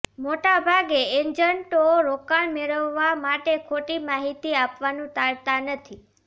મોટાભાગે એજન્ટો રોકાણ મેળવવા માટે ખોટી માહિતી આપવાનું ટાળતા નથી